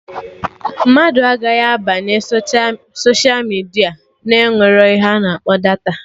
Mmadụ agaghị abanye soshia midia na-enwerọ ihe a na-akpọ data